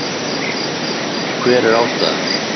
Og hver er ástæðan?